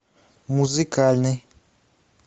музыкальный